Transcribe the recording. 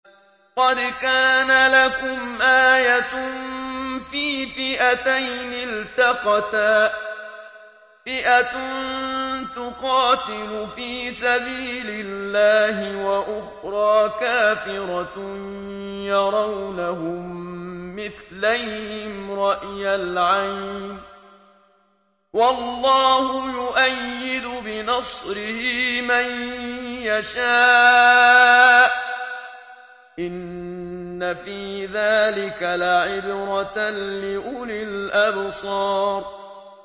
قَدْ كَانَ لَكُمْ آيَةٌ فِي فِئَتَيْنِ الْتَقَتَا ۖ فِئَةٌ تُقَاتِلُ فِي سَبِيلِ اللَّهِ وَأُخْرَىٰ كَافِرَةٌ يَرَوْنَهُم مِّثْلَيْهِمْ رَأْيَ الْعَيْنِ ۚ وَاللَّهُ يُؤَيِّدُ بِنَصْرِهِ مَن يَشَاءُ ۗ إِنَّ فِي ذَٰلِكَ لَعِبْرَةً لِّأُولِي الْأَبْصَارِ